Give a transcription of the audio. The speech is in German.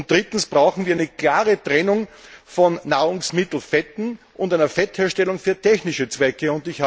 Drittens brauchen wir eine klare Trennung von Nahrungsmittelfetten und einer Fettherstellung für technische Zwecke.